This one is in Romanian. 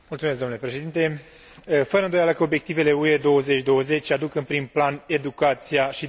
Fără îndoială că obiectivele UE 2020 aduc în prim plan educația și dezvoltarea competențelor.